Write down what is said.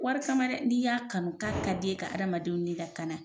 Wari kama dɛ n'i y'a kanu k'a ka di i ye ka adamadenw ni lakana